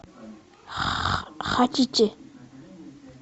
хотите